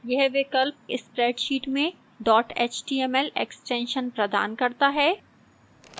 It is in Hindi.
यह विकल्प spreadsheet में dot html extension प्रदान करता है